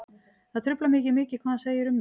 Það truflar mig ekki mikið hvað hann segir um mig.